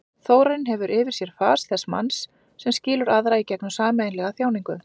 Þórarinn hefur yfir sér fas þess manns sem skilur aðra í gegnum sameiginlega þjáningu.